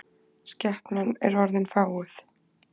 Skepnan er orðin fáguð.